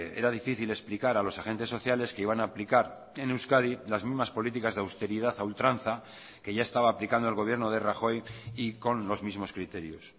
era difícil explicar a los agentes sociales que iban a aplicar en euskadi las mismas políticas de austeridad a ultranza que ya estaba aplicando el gobierno de rajoy y con los mismos criterios